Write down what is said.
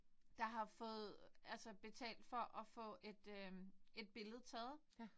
Der har fået altså betalt for at få et øh et billede taget